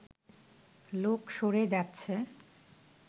লোক সরে যাচ্ছে